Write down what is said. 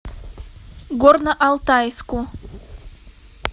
горно алтайску